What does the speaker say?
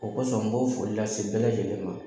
O kɔsɔn n b'o foli lase bɛɛ lajɛlen ma.